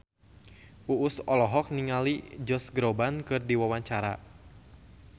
Uus olohok ningali Josh Groban keur diwawancara